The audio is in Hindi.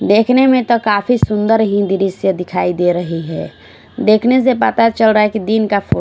देखने मे तो काफी सुंदर दिखाई दे रही है देखने से पता चल रहा है कि दिन का फो--